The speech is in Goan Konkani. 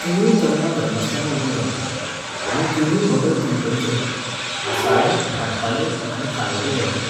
तिनूय तरंगा धरनासतना उबीं रावतात, आनी तिनूय भगत तीनकडेचे, आसाळें, भाटपाले आनी खालवडें देवाचे.